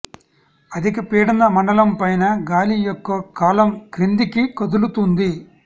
అధిక పీడన మండలం పైన గాలి యొక్క కాలమ్ క్రిందికి కదులుతుంది